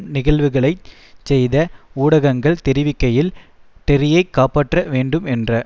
நிகழ்வுகளைச் செய்தி ஊடகங்கள் தெரிவிக்கையில் டெர்ரியைக் காப்பாற்ற வேண்டும் என்ற